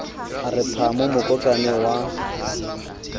a re phamo mokotlana wa